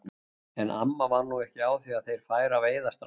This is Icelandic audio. En amman var nú ekki á því að þeir færu að veiða strax.